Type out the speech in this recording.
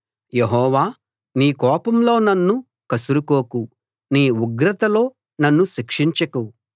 యెహోవా నీ కోపంలో నన్ను కసురుకోకు నీ ఉగ్రతలో నన్ను శిక్షించకు